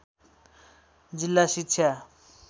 जिल्ला शिक्षा